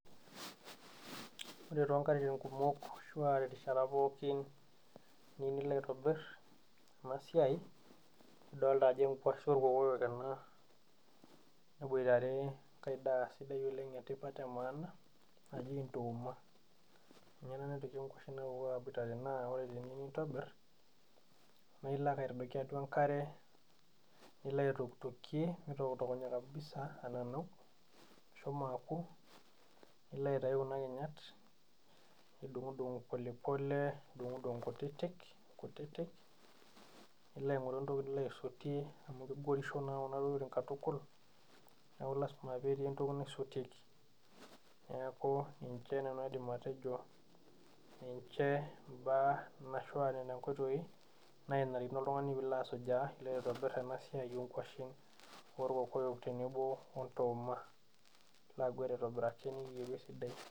Ore toonkatitin kumok ashu aatorishat pookin niyieu nilo aitobir ena siai, ildolta ajo enkuashe olkoyoyo ena neboitare enkae daa sidai oleng' etipat emaana naji ntooma ninye ena nagira aboitare naa teniyieu nintobir naa ilo ake aitdoiki atua enkare, nilo aitokitokie nitokitokunye kabisa ananau ishomo akurs nepuku kuna kinyat, nidungdunk pole pole, nidunkdunk inkutiti kutiti nilo ainkoru entoki nilo aisotie amu kegorisho naa kuna tokitin katukul, neeku lasima peetii entoki naisotieki. Neeku ninje nanu aidim atejo ninje imbaa ashuu aa nena inkoitoi naa narikino piilo oltungani asujaa aitobir ena siai oonkuashen olkoyoyo tenebo ontooma.